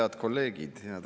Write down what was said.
Head kolleegid!